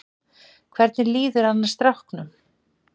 Hvernig líður annars stráknum?